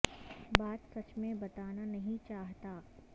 بات سچ میں بتانا نہیں چاہتا